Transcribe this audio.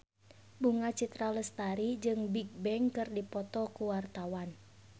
Bunga Citra Lestari jeung Bigbang keur dipoto ku wartawan